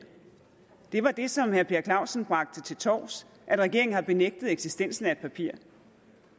det var det som herre per clausen bragte til torvs at regeringen har benægtet eksistensen af et papir